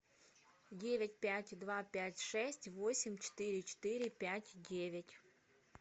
девять пять два пять шесть восемь четыре четыре пять девять